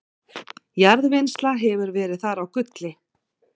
jarðvinnsla hefur verið þar á gulli